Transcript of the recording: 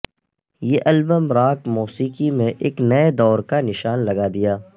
یہ album rock موسیقی میں ایک نئے دور کا نشان لگا دیا